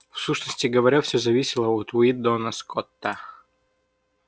в сущности говоря все зависело от уидона скотта